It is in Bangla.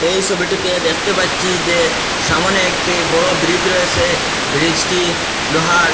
এই ছবিটিতে দেখতে পাচ্ছি যে সামোনে একটি বড় ব্রিজ রয়েছে ব্রিজটি লোহার।